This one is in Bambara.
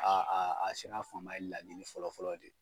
A a a sira fanba ye laɲini fɔlɔ fɔlɔ de ye.